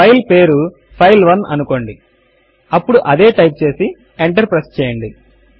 file పేరు ఫైల్1 అనుకోండి అప్పుడు అదే టైప్ చేసి ఎంటర్ ప్రెస్ చేయండి